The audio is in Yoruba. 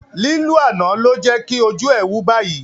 Lílù àná ló jẹ́kí ojú ẹ̀ wú báyìí